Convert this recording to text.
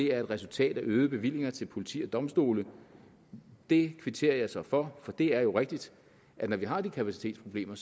er et resultat af øgede bevillinger til politi og domstole det kvitterer jeg så for for det er jo rigtigt at når vi har de kapacitetsproblemer